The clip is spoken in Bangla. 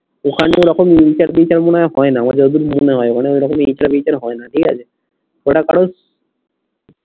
ওখান থেকে মনে হয় হয় না এইচআর বেইচার মনে হয় না ঠিক আছে ঐটা